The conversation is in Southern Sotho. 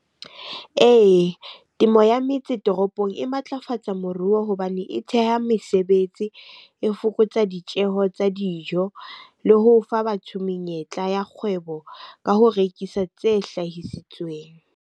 Ee, temo ya metse toropong e matlafatsa moruo hobane e theha mesebetsi. E fokotsa ditjeho tsa dijo le ho fa batho menyetla ya kgwebo ka ho rekisa tse hlahisitsweng.